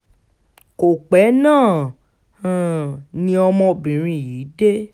kò pẹ́ náà um ni ọmọbìnrin yìí dé